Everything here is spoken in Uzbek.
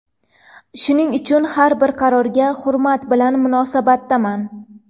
Shuning uchun har bir qaroriga hurmat bilan munosabatdaman”.